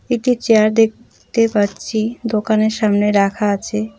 একটি চেয়ার দেখতে পাচ্ছি দোকানের সামনে রাখা আছে।